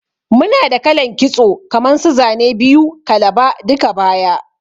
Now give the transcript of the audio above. Muna da kalan kitso kaman su Zane biyu, kalaba, duka-baya,